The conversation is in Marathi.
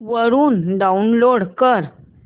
वरून डाऊनलोड कर